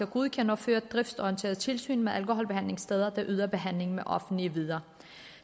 godkende og føre driftsorienteret tilsyn med alkoholbehandlingssteder der yder behandling med offentlige midler